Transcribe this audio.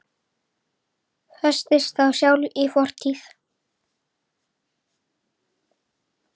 Festist þá sjálf í fortíð.